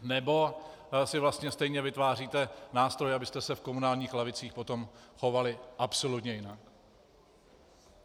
Nebo si vlastně stejně vytváříte nástroje, abyste se v komunálních lavicích potom chovali absolutně jinak?